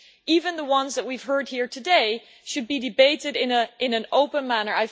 Even the ones that we have heard here today should be debated in an open manner.